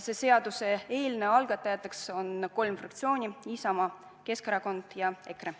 Selle seaduseelnõu algatajad on kolm fraktsiooni: Isamaa, Keskerakond ja EKRE.